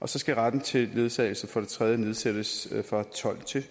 og så skal retten til ledsagelse for det tredje nedsættes fra tolv år til